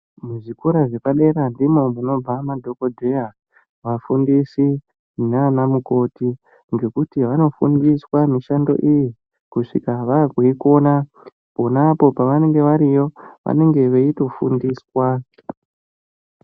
Muzvikora zvepadera ndimwo munobva madhokodheya vafundisi nanamukoti nekuti vanofundiswa mishando iyi kuzvika vaakuikona ponapo pavanenge variyo vanenge veitofundiswa.